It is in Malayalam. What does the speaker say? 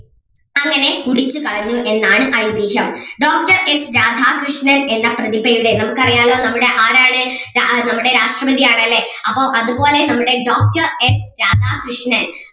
അങ്ങനെ കുടിച്ചു കളഞ്ഞു എന്നാണ് ഐതീഹ്യം doctor എസ് രാധാകൃഷ്ണൻ എന്ന പ്രതിഭയുടെ നമുക്ക് അറിയാല്ലോ നമ്മുടെ ആരാണ് ആഹ് നമ്മുടെ രാഷ്‌ട്രപതി ആണല്ലേ അപ്പൊ അതുപോലെ നമ്മുടെ doctor എസ് രാധാകൃഷ്ണൻ